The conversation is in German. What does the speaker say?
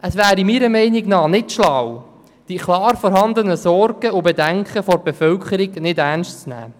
Es wäre meiner Meinung nach unklug, die Sorgen und Bedenken der Bevölkerung nicht ernst zu nehmen.